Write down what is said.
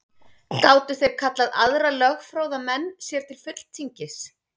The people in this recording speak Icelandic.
Gátu þeir kallað aðra lögfróða menn sér til fulltingis.